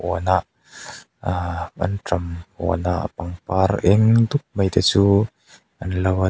huanah aa anṭam huanah pangpar eng dup mai te chu an lo a--